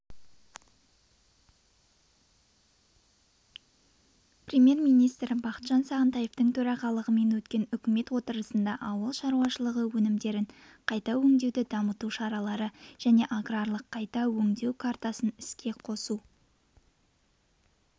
премьер-министрі бақытжан сағынтаевтың төрағалығымен өткен үкімет отырысында ауыл шаруашылығы өнімдерін қайта өңдеуді дамыту шаралары және аграрлық қайта өңдеу картасын іске қосу